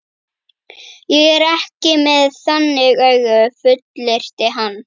Ég er ekki með þannig augu, fullyrti hann.